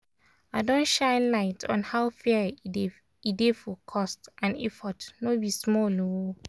i don shine light on how fair e dey e dey for cost and effort no be small o!